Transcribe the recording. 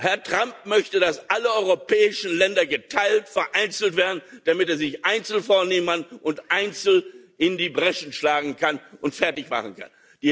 Herr Trump möchte, dass alle europäischen Länder geteilt, vereinzelt werden, damit er sie sich einzeln vornehmen kann, einzeln in die Breschen schlagen kann und sie fertigmachen kann.